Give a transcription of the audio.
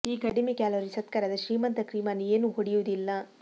ಈ ಕಡಿಮೆ ಕ್ಯಾಲೋರಿ ಸತ್ಕಾರದ ಶ್ರೀಮಂತ ಕ್ರೀಮ್ ಅನ್ನು ಏನೂ ಹೊಡೆಯುವುದಿಲ್ಲ